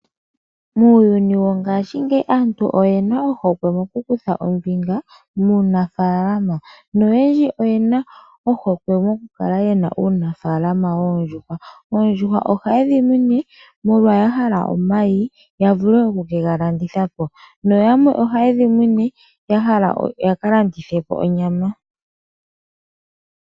Muuyuni mongaashingeyi aantu oye na ohokwe mokukutha ombinga muunafaalama noyendji oye na ohokwe mokukala yena uunafaalama woondjuhwa. Oondjuhwa ohaye dhi munu molwa ya hala omayi ya vule okukega landitha po. Yamwe ohaye dhi munu ya hala ya kalandithe onyama.